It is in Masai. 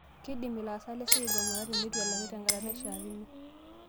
Keidim laasak lesiai aigomata tenetu elaki tenkata naishiakino